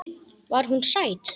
Var hún sæt?